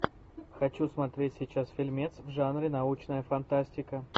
хочу смотреть сейчас фильмец в жанре научная фантастика